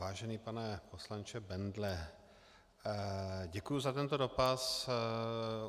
Vážený pane poslanče Bendle, děkuji za tento dotaz.